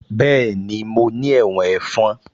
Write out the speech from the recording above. Bẹ́ẹ̀ni mo ní ẹ̀wọ̀n ẹ̀fọn